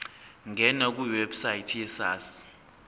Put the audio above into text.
ngena kwiwebsite yesars